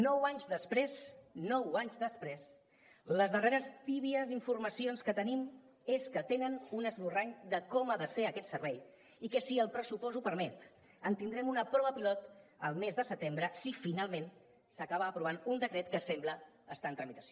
nou anys després nou anys després les darreres tèbies informacions que tenim és que tenen un esborrany de com ha de ser aquest servei i que si el pressupost ho permet en tindrem una prova pilot al mes de setembre si finalment s’acaba aprovant un decret que sembla que està en tramitació